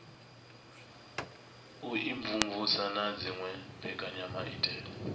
u imvumvusa na dziwe mbekanyamaitele